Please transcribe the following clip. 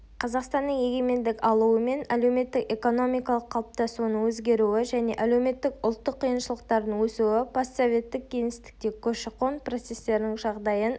қазақстанның егемендік алуымен әлеуметтік-экономикалық қалыптасуының өзгеруі және әлеуметтік ұлттық қиыншылықтардың өсуі постсоветтік кеңістікте көші-қон процестерінің жағдайын